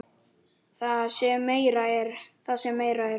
Það sem meira er.